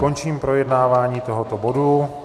Končím projednávání tohoto bodu.